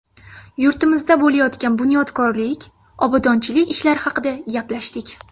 Yurtimizda bo‘layotgan bunyodkorlik, obodonchilik ishlari haqida gaplashdik.